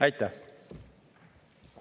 Aitäh!